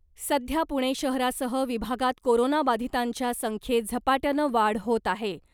सध्या पुणे शहरासह विभागात कोरोना बाधितांच्या संख्येत झपाट्यानं वाढ होत आहे .